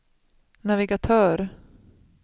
navigatör